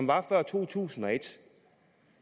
var før to tusind og et